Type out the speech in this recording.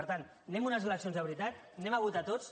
per tant anem a unes eleccions de veritat anem a votar tots